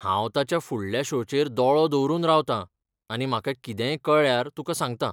हांव ताच्या फुडल्या शो चेर दोळो दवरून रावतां आनी म्हाका कितेंय कळ्ळ्यार तुका सांगतां .